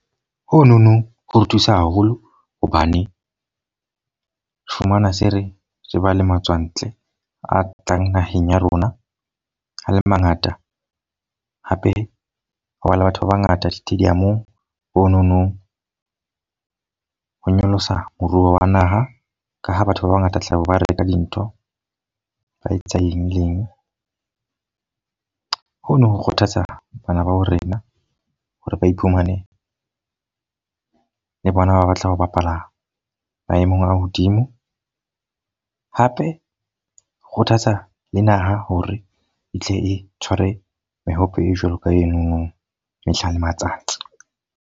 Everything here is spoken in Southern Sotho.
Ho nono ho re thusa haholo hobane fumana se re ba le matswantle a tlang naheng ya rona, a le mangata. Hape ho ba le batho ba bangata di-stadium-ong. Ho nonong ho nyolosa moruo wa naha. Ka ha batho ba bangata tlabe ba re reka dintho, ba etsa eng le eng. Ho no ho kgothatsa bana ba ha rena hore ba iphumane ba le bona, ba batla ho bapala maemong a hodimo. Hape ho kgothatsa le naha hore e tle e tshware mehope e jwalo ka enono ka mehla le matsatsi.